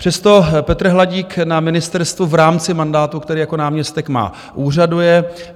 Přesto Petr Hladík na ministerstvu v rámci mandátu, který jako náměstek má, úřaduje.